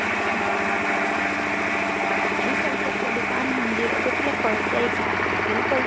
agriculture दुकान म्हणजे अग तुला कळतय का? agricul